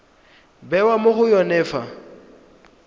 bewa mo go yone fa